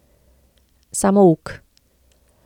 Samouk.